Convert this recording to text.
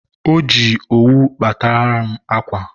o ji owu kpatara m akwa.